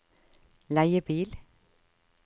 leiebil